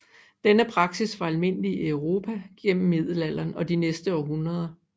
Denne praksis var almindelig i Europa igennem Middelalderen og de næste århundreder